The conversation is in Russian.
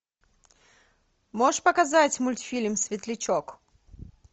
можешь показать мультфильм светлячок